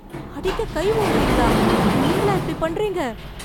அடிக்க கை ஓங்கறீங்களா நீங்களா இப்படி பண்றீங்க